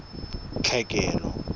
tlhekelo